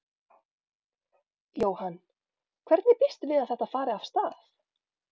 Jóhann: Hvernig býstu við að þetta fari af stað?